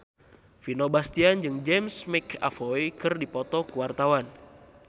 Vino Bastian jeung James McAvoy keur dipoto ku wartawan